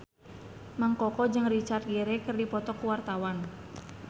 Mang Koko jeung Richard Gere keur dipoto ku wartawan